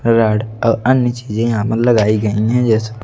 राढ़ और अन्य चीजें यहां पर लगाई गई हैं जैसे--